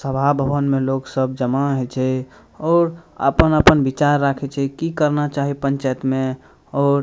सभा भवन में लोग सब जमा हेय छै और अपन-अपन विचार राखे छै की करना चाही पंचायत में और --